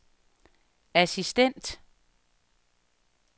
assistent